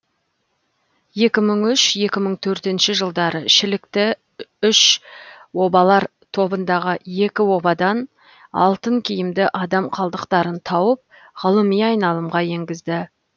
екі мың үш екі мың төртінші жылдары шілікті үш обалар тобындағы екі обадан алтын киімді адам қалдықтарын тауып ғылыми айналымға енгізді